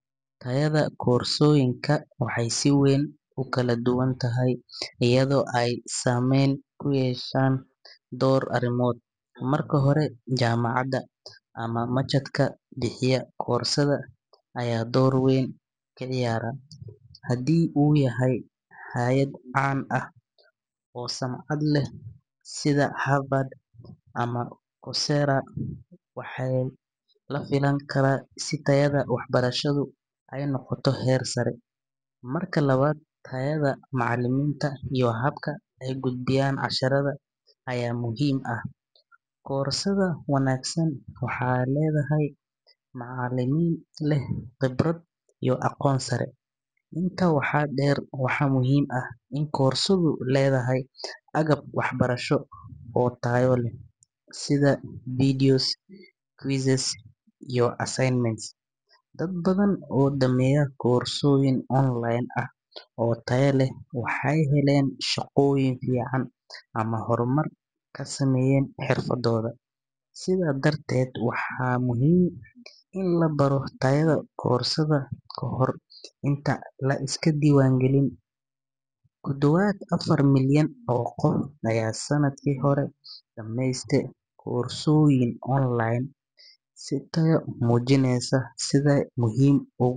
Tayada koorsooyinka waxay si weyn u kala duwan tahay iyadoo ay saameyn ku yeeshaan dhowr arrimood. Marka hore, jaamacadda ama machadka bixiya koorsada ayaa door weyn ka ciyaara. Haddii uu yahay hay’ad caan ah oo sumcad leh, sida Harvard ama Coursera, waxaa la filan karaa in tayada waxbarashadu ay noqoto heer sare. Marka labaad, tayada macallimiinta iyo habka ay u gudbiyaan casharada ayaa muhiim ah. Koorsada wanaagsan waxay leedahay macallimiin leh khibrad iyo aqoon sare. Intaa waxaa dheer, waxaa muhiim ah in koorsadu leedahay agab waxbarasho oo tayo leh, sida videos, quizzes, iyo assignments. Dad badan oo dhameeya koorsooyin online ah oo tayo leh, waxay heleen shaqooyin fiican ama horumar ku sameeyeen xirfadooda. Sidaa darteed, waa muhiim in la baaro tayada koorsada ka hor inta aan la iska diiwaangelin. Ku dhawaad afar milyan oo qof ayaa sanadkii hore dhammaystay koorsooyin online ah, taasoo muujinaysa sida ay muhiim ugu.